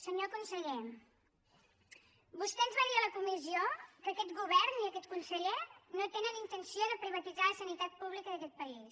senyor conseller vostè ens va dir en la comissió que aquest govern i aquest conseller no tenen intenció de privatitzar la sanitat pública d’aquest país